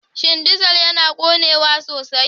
Shin dizal yana ƙonewa sosai?